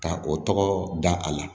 Ka o tɔgɔ da a la